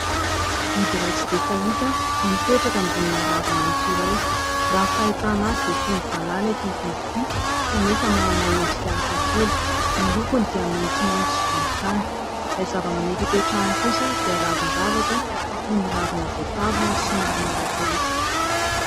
Biby iray tsy dia fahita no mipetraka ambonina ravimaitso iray. Raha ny fahitana azy dia toy ny valala ity biby ity kanefa manana endrika hafa kely. Ny lokony dia maitsomaitso sy volontany. Ilay zava-maniry ipetrahany kosa dia ravin-javatra toy ny ravina voatavo ary somary marokoroko.